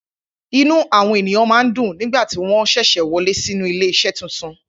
Inú àwọn ènìyàn máa ń dùn nígbà tí wọ́n ṣẹ̀ṣẹ̀ wọlé sí inú ilé iṣẹ́ titun.